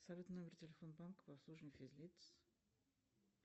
салют номер телефона банка по обслуживанию физлиц